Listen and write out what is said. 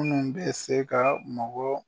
Minnu bɛ se ka mɔgɔ